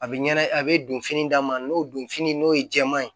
A bɛ ɲɛna a bɛ don fini d'a ma n'o don fini n'o ye jɛman ye